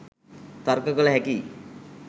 තර්ක කල හැකියි.